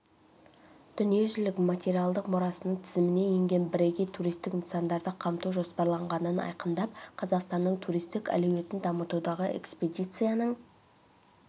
дүниежүзілік материалдық мұрасының тізіміне енген бірегей туристік нысанды қамту жоспарланғанын айқындап қазақстанның туристік әлеуетін дамытудағы экспедицияның